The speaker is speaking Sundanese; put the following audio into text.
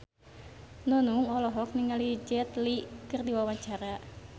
Nunung olohok ningali Jet Li keur diwawancara